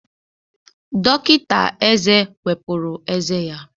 Dọkịta eze wepụrụ ezé ya